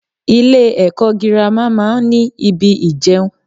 Ilẹ́ ẹ̀kọ́ girama máa ń ní ibi ìjẹun.